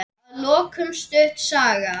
Að lokum stutt saga.